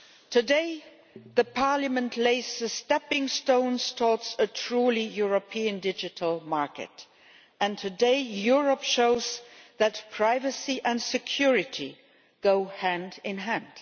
Today Parliament lays the stepping stones towards a truly European digital market, and today Europe shows that privacy and security go hand in hand.